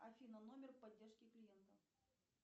афина номер поддержки клиента